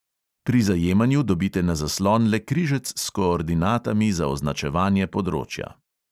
Pri zajemanju dobite na zaslon le križec s koordinatami za označevanje področja.